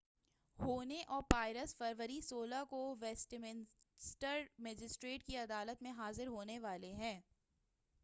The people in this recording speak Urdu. ہوہنے اور پائرس فروری 16 کو ویسٹمنسٹر مجسٹریٹ کی عدالت میں حاضر ہونے والے ہیں